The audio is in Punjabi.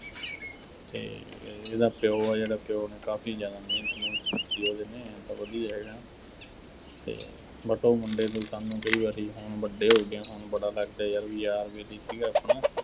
ਅਤੇ ਇਹਦਾ ਪਿਉ ਆ ਜਿਹੜਾ, ਪਿਉ ਨੇ ਕਾਫੀ ਜ਼ਿਆਦਾ ਮਿਹਨਤ -ਮੂਹਨਤ ਕੀਤੀ ਉਹਦੇ ਨੇ, ਆਏਂ ਤਾਂ ਵਧੀਆ ਹੈਗਾ ਅਤੇ but ਉਹ ਮੁੰਡੇ ਨੂੰ ਸਾਨੂੰ ਕਈ ਵਾਰੀ ਹੁਣ ਵੱਡੇ ਹੋ ਗਏ ਹਾਂ, ਹੁਣ ਬੜਾ ਲੱਗਦਾ ਯਾਰ ਬਈ ਯਾਰ ਬੇਲੀ ਸੀਗਾ ਆਪਣਾ